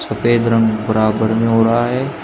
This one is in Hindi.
सफेद रंग बराबर में हो रहा है।